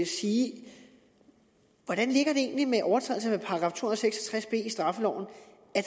sige hvordan ligger det egentlig med overtrædelser af § to hundrede og seks og tres b i straffeloven